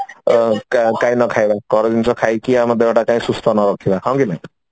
କାଇଁ ନ ଖାଇବା ଘର ଜିନିଷ ଘର ଜିନିଷ ଖାଇକି ଆମ ଦେହଟାକୁ ସୁସ୍ଥ କାଇଁ ନ ରଖିବା ହଁ କି ନାଇଁ